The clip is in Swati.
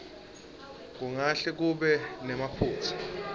kungahle kube nemaphutsa